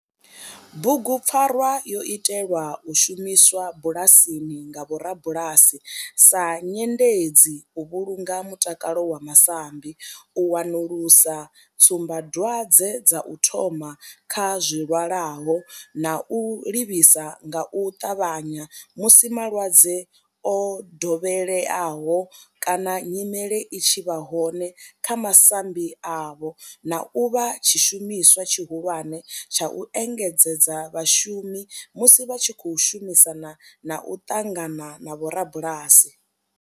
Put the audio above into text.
Bugupfarwa yo itelwa u shumiswa bulasini nga vhorabulasi sa nyendedzi u vhulunga mutakalo wa masambi, u wanulusa tsumbadwadzwe dza u thoma kha zwilwalaho na u livhisa nga u tavhanya musi malwadze o dovheleaho kana nyimele i tshi vha hone kha masambi avho, na u vha tshishumiswa tshihulwane tsha u engedzedza vhashumi musi vha tshi khou shumisana na u ṱangana na vhorabulasi.